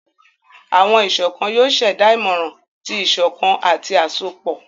Awọn iṣọkan yoo ṣẹda imọran ti iṣọkan ati asopọ.